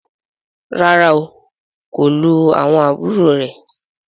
Ràrá o, kò lù àwọn àbúrò rẹ.